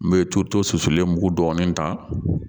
N bɛ to solen mugu dɔɔni ta